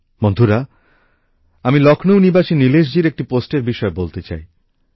বন্ধুরা আমি লখনউ নিবাসী নীলেশজির একটি পোস্টের বিষয়ে বলতে চাই